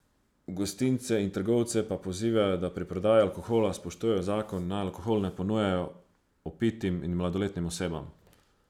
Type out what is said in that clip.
Gostince in trgovce pa pozivajo, da pri prodaji alkohola spoštujejo zakon in naj alkohol ne ponujajo opitim in mladoletnim osebam.